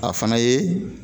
A fana ye